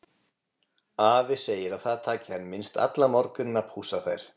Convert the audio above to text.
Afi segir að það taki hana minnst allan morguninn að pússa þær.